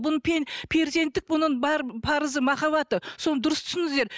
перзенттік бұның бар парызы махаббаты соны дұрыс түсініңіздер